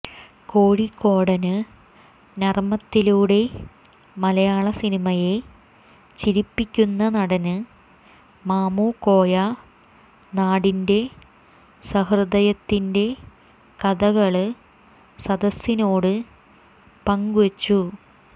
കോഴിക്കോടന് നര്മത്തിലൂടെ മലയാളസിനിമയെ ചിരിപ്പിക്കുന്ന നടന് മാമുക്കോയ നാടിന്റെ സഹൃദയത്തിന്റെകഥകള് സദസിനോട് പങ്ക്വെച്ചു